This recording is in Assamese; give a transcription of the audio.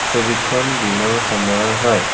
ছবিখন দিনৰ সময়ৰ হয়।